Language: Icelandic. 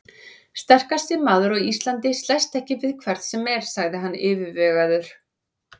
Sterkasti maður á Íslandi slæst ekki við hvern sem er, sagði hann yfirvegaður.